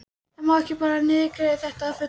En má ekki bara niðurgreiða þetta að fullu?